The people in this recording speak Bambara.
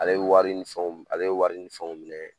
Ale ye wari ni fɛnw ale ye wari ni fɛnw minɛ